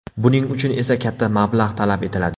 Buning uchun esa katta mablag‘ talab etiladi.